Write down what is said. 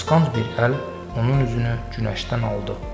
Qısqanc bir əl onun üzünü günəşdən aldı.